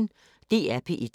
DR P1